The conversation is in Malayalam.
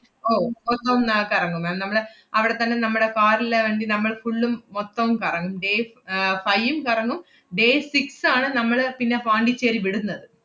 ഓ മൊത്തം അഹ് കറങ്ങും ma'am നമ്മള് അവടെ തന്നെ നമ്മടെ car ല് നമ്മള് full ഉം മൊത്തം കറങ്ങും, day അഹ് five ഉം കറങ്ങും day six ആണ് നമ്മള് പിന്നെ പോണ്ടിച്ചേരി വിടുന്നത്.